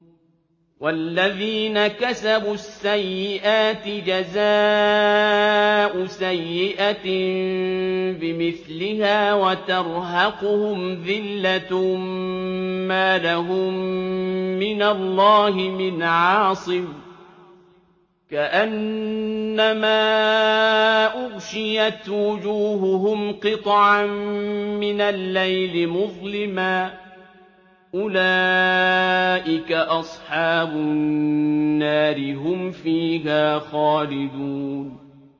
وَالَّذِينَ كَسَبُوا السَّيِّئَاتِ جَزَاءُ سَيِّئَةٍ بِمِثْلِهَا وَتَرْهَقُهُمْ ذِلَّةٌ ۖ مَّا لَهُم مِّنَ اللَّهِ مِنْ عَاصِمٍ ۖ كَأَنَّمَا أُغْشِيَتْ وُجُوهُهُمْ قِطَعًا مِّنَ اللَّيْلِ مُظْلِمًا ۚ أُولَٰئِكَ أَصْحَابُ النَّارِ ۖ هُمْ فِيهَا خَالِدُونَ